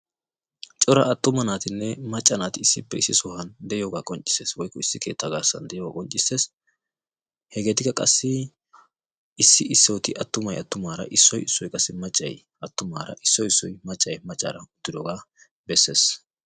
Cora attuma naatinne macca naati issippe issi sohuwan de'iyogaa qonccisses woykko issi keettaa garsan diyoga qonccisses; hegeetikka qassi issi issoti attumay attumaara, issoti issoti attumay maccaara, issoti issoti qassi maccay maccaara uttirooga bessees.